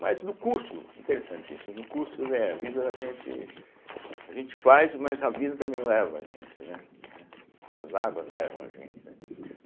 Mas no curso, interessante isso, no curso eh a vida a gente a gente faz, mas a vida também leva a gente, né, né as águas levam a gente, né.